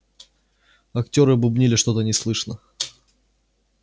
актёры бубнили что-то неслышно